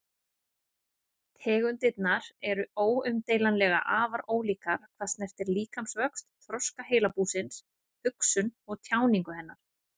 Tegundirnar eru óumdeilanlega afar ólíkar hvað snertir líkamsvöxt, þroska heilabúsins, hugsun og tjáningu hennar.